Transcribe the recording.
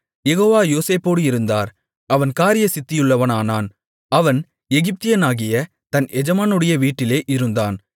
யெகோவா யோசேப்போடு இருந்தார் அவன் காரியசித்தியுள்ளவனானான் அவன் எகிப்தியனாகிய தன் எஜமானுடைய வீட்டிலே இருந்தான்